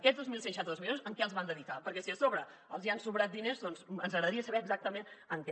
aquests dos mil cent i seixanta dos milions a què els van dedicar perquè si a sobre els hi han sobrat diners doncs ens agradaria saber exactament en què